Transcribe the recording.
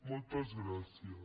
moltes gràcies